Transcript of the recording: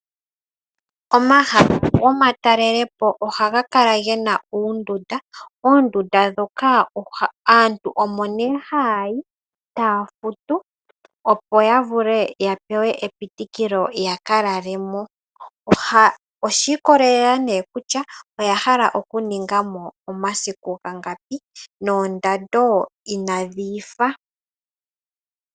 Omahala gomatalelepo, oha ga kala gena uundunda, oondunda ndhoka aantu omo ne ha ya yi, taya futu, opo ya vule ya pewe epitikilo ya ka lalemo. Oshi ikolelela ne kutya oya hala ya ningemo omasiku gangapi, noondando ina dhi ifa.